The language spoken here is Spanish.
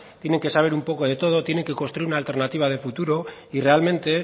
tienen que saber un poco de todo tienen que construir una alternativa de futuro y realmente